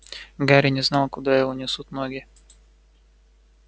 гарри не знал куда его несут ноги